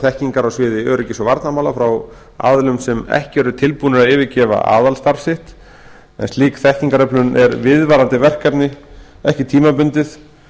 þekkingar á sviði öryggis og varnarmála frá aðilum sem ekki eru tilbúnir að yfirgefa aðalstarf sitt slík þekkingaröflun er viðvarandi verkefni en ekki tímabundið